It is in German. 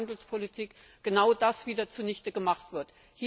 Handelspolitik genau das wieder zunichte gemacht wird.